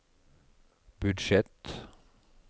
budsjett